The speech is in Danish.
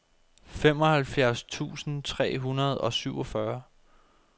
femoghalvfjerds tusind tre hundrede og syvogfyrre